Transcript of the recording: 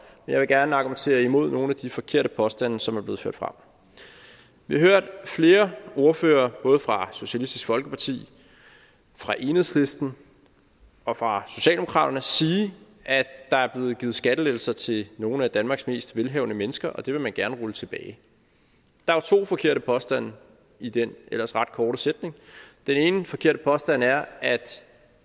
jeg vil gerne argumentere imod nogle af de forkerte påstande som er blevet ført frem vi har hørt flere ordførere både fra socialistisk folkeparti fra enhedslisten og fra socialdemokraterne sige at der er blevet givet skattelettelser til nogle af danmarks mest velhavende mennesker og det vil man gerne rulle tilbage der er to forkerte påstande i den ellers ret korte sætning den ene forkerte påstand er at